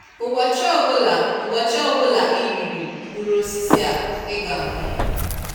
Ụbọchị ọbụla Ụbọchị ọbụla ị riri mkpụrụ osisi a ị ga anwụ.”